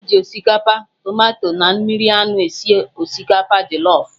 E ji osikapa, tomato na mmiri anụ esi osikapa jọlọf